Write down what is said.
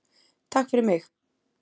Takk fyrir mig!